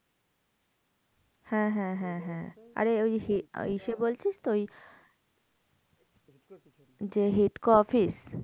হ্যাঁ হ্যাঁ হ্যাঁ হ্যাঁ আরে ওই সেই ওই সেই বলছিস তো? ওই হিডকো অফিস যে হিডকো অফিস।